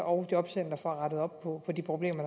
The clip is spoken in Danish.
og jobcenteret får rettet op på de problemer